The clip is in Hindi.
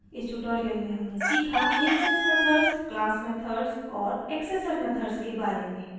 इस ट्यूटोरियल में हमने सीखा: इंस्टैंस मेथड्स क्लास मेथड्स और एक्सेसर मेथड्स के बारे में